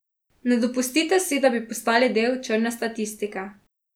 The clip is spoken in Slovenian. Ne dopustite si, da bi postali del črne statistike!